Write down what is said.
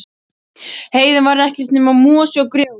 Heiðin var ekkert nema mosi og grjót.